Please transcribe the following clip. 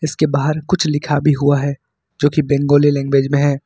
उसके बाहर कुछ लिखा भी हुआ है जो कि बंगाली लैंग्वेज में है।